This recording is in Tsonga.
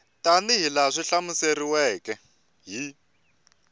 tanihi laha swi hlamuseriweke hi